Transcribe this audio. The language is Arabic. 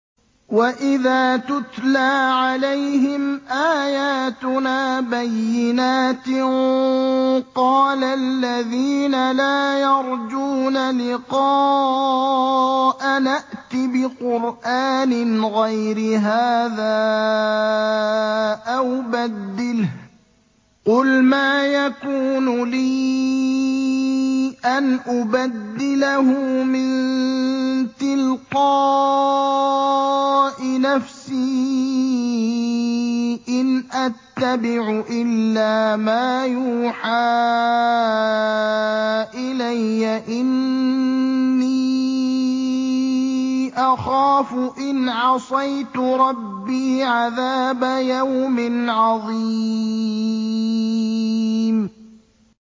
وَإِذَا تُتْلَىٰ عَلَيْهِمْ آيَاتُنَا بَيِّنَاتٍ ۙ قَالَ الَّذِينَ لَا يَرْجُونَ لِقَاءَنَا ائْتِ بِقُرْآنٍ غَيْرِ هَٰذَا أَوْ بَدِّلْهُ ۚ قُلْ مَا يَكُونُ لِي أَنْ أُبَدِّلَهُ مِن تِلْقَاءِ نَفْسِي ۖ إِنْ أَتَّبِعُ إِلَّا مَا يُوحَىٰ إِلَيَّ ۖ إِنِّي أَخَافُ إِنْ عَصَيْتُ رَبِّي عَذَابَ يَوْمٍ عَظِيمٍ